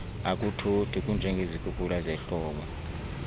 akuthothi kunjengezikhukula zehlobo